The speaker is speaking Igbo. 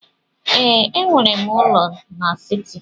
Ee, enwere m ụlọ n'siti.